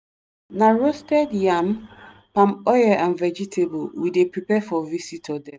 na roasted yam palm oil and vegetable we dey prepare for visitor dem.